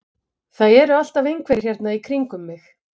Það eru alltaf einhverjir hérna í kringum mig.